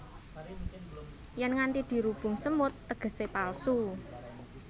Yèn nganti dirubung semut tegesé palsu